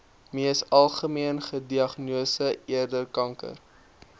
mees algemeengediagnoseerde kanker